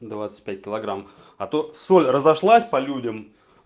двадцать пять килограмм а то соль разошлась по людям